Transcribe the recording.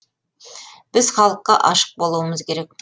біз халыққа ашық болуымыз керек